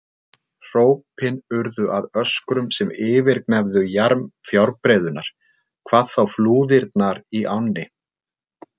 Hrópin urðu að öskrum sem yfirgnæfðu jarm fjárbreiðunnar, hvað þá flúðirnar í ánni.